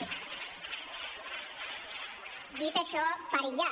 dit això parin ja